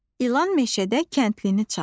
İlan meşədə kəndlini çaldı.